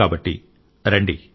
కాబట్టి రండి